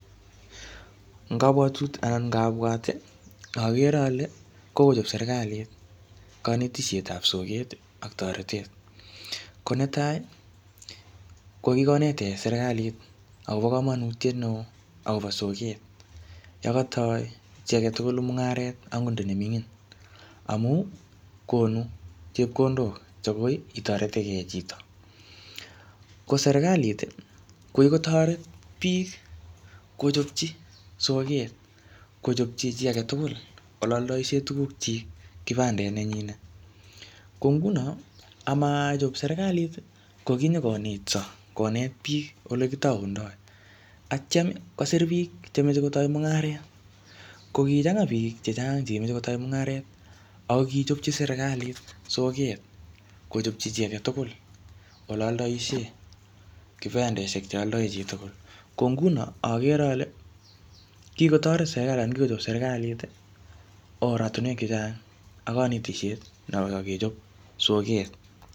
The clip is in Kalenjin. Eng kabwatutik anan ngabwat, agere ale, kokochop serikalit kanetishetab soket ak torotet. Ko netai, ko kikonetech serikalit akobo komonutiet neoo akobo soket. Yekataoi chi age tugul mung'aret angot nda ne ming'in. Amu konu chepkondok che koi itoretekey chito. Ko serikalit, ko kikotoret bik kochopchi soket, kochopchi chi age tugul ole aldaishe tuguk chik, kibandet nenyinet. Ko nguno, amachop serikalit, ko kinyikonetso, konet biik ole kitaundoi. Atyam kosir biik che meche kotai mung'aret. Ko kichanga biik chechang che kimeche kotai mung'aret. Ako kichopchi serikalit soket, kochopchi chi age tugul ole aldoishoe, kibandeshek che aldoi chi tugul. Ko nguno agere ale, kikotoret serikalit anan kikochop serikalit oratunwek chechang ak kanetishet noko kechop soket.